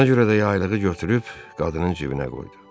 Ona görə də yaylığı götürüb qadının cibinə qoydu.